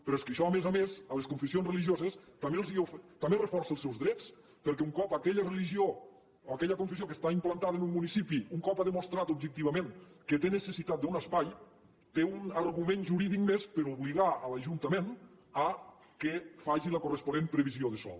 però és que això a més a més a les confessions religioses també els reforça els seus drets perquè un cop aquella religió o aquella confessió que està implantada en un municipi un cop ha demostrat objectivament que té necessitat d’un espai té un argument jurídic més per obligar l’ajuntament que faci la corresponent previsió de sòl